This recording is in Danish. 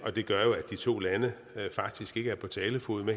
og det gør jo at de to lande faktisk ikke er på talefod